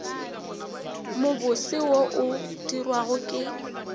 mobose wo o dirwago ke